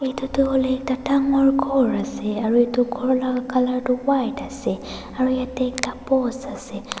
Etu tuh hoile ekta dangor ghor ase aro etu ghor la colour tuh white ase aro yatheh ekta post ase.